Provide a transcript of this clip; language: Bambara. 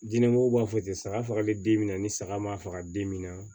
Diinɛbɔ b'a fɔ ten saga fagali den min na ni saga ma faga bin min na